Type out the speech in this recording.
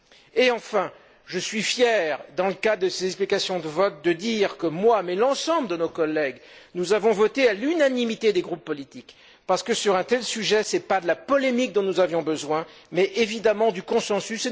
Et, enfin, je suis fier, dans le cadre de ces explications de vote, de dire que, moi et l'ensemble de nos collègues, nous avons voté à l'unanimité des groupes politiques, parce que, sur un tel sujet, ce n'est pas de la polémique dont nous avions besoin, mais évidemment du consensus.